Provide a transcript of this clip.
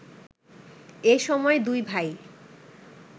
এসময় দুই ভাই